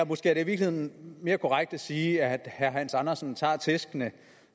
måske i virkeligheden mere korrekt at sige at herre hans andersen tager tæskene